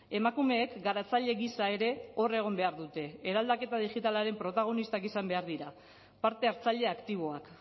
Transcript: emakumeek garatzaile giza ere hor egon behar dute eraldaketa digitalaren protagonistak izan behar dira parte hartzaile aktiboak